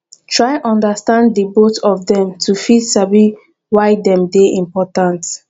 try understand di both of dem to fit sabi why dem de important